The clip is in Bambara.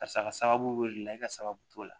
Karisa ka sababu la i ka sababu t'o la